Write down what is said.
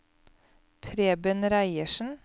Preben Reiersen